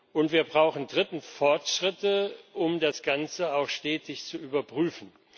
Und wir brauchen drittens Fortschritte, um das Ganze auch stetig zu überprüfen.